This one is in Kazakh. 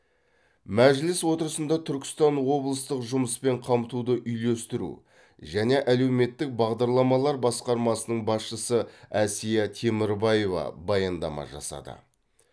мәжіліс отырысында түркістан облыстық жұмыспен қамтуды үйлестіру және әлеуметтік бағдарламалар басқармасының басшысы әсия темірбаева баяндама жасады